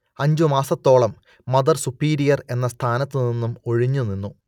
അഞ്ച് മാസത്തോളം mother superior എന്ന സ്ഥാനത്തു നിന്നും ഒഴിഞ്ഞു നിന്നു